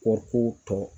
Kɔɔriko tɔ